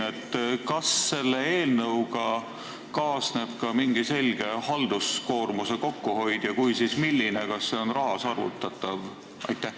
Kas selle eelnõuga kaasneb ka selge halduskoormuse kokkuhoid ja kui jah, siis milline – kas see on rahas arvutatav?